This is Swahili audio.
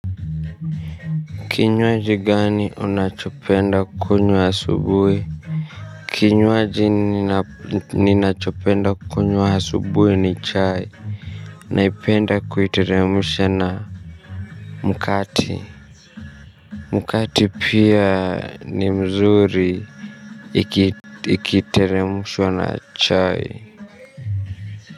Kinywaji gani unachopenda kunywa asubuhi? Kinywaji ninachopenda kunywa asubuhi ni chai. Naipenda kuiteremsha na mkate. Mkate pia ni mzuri. Ikiteremshwa na chai.